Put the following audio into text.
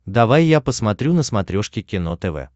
давай я посмотрю на смотрешке кино тв